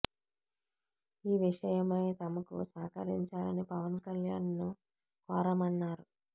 ఈ విషయమై తమకు సహకరించాలని పవన్ కళ్యాణ్ ను కోరామన్నారు